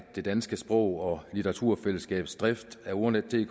det danske sprog og litteraturselskabs drift af ordnetdk